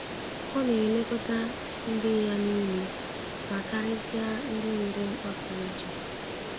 Ọ na-elekọta ndị ya nile — ma karịsịa ndị nwere mkpa pụrụ iche.